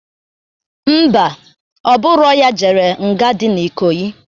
Ḿbà,Ọ bụrọ ya jere nga dị na Ikoyi.